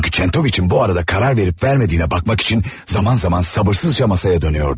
Çünki Kentoviçin bu müddətdə qərar verib-vermədiyini yoxlamaq üçün vaxtaşırı səbirsizliklə masaya dönürdü.